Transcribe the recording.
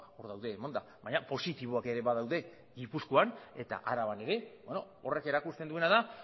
hor daude emanda baina positiboak ere badaude gipuzkoan eta araban ere horrek erakusten duena da